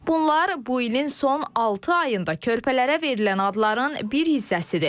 Bunlar bu ilin son altı ayında körpələrə verilən adların bir hissəsidir.